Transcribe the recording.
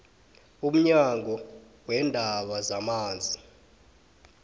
umnyango weendaba zamanzi